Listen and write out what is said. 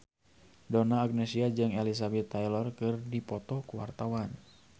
Donna Agnesia jeung Elizabeth Taylor keur dipoto ku wartawan